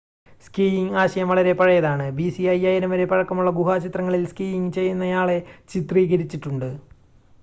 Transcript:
skiing ആശയം വളരെ പഴയതാണ് bc 5000 വരെ പഴക്കമുള്ള ഗുഹാചിത്രങ്ങളിൽ സ്കീയിംങ് ചെയ്യുന്നയാളെ ചിത്രീകരിച്ചിട്ടുണ്ട്